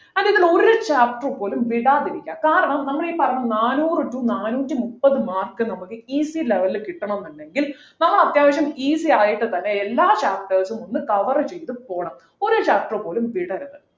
അതിനകത്തു നിന്ന് ഒരു chapters പോലും വിടാതിരിക്കാ കാരണം നമ്മളെ ഈ പറഞ്ഞ നാനൂറു to നാനൂറ്റിമുപ്പത് mark നമ്മക്ക് easy level ലു കിട്ടണം എന്നുണ്ടെങ്കിൽ നമ്മൾ അത്യാവശ്യം easy ആയിട്ട് തന്നെ എല്ലാ chapters ഉം ഒന്ന് cover ചെയ്തു പോണം ഒരു chapter പോലും വിടരുത്